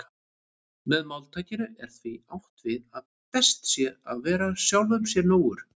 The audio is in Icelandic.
Með máltækinu er því átt við að best sé að vera sjálfum sér nógur.